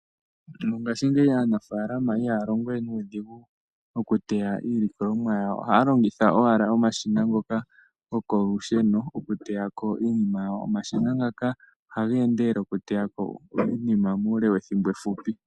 Mongashingeyi aanafalama ihaya longowe nuudhigu oku teya iilikolomwa yawo ohaya longitha owala omashina ngoka gokolusheno oku teyako iinima yawo. Omashina ngaka ohaga endelele oku teya iinima mule wethimbo efupi.